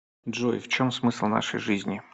джой в чем смысл нашей жизни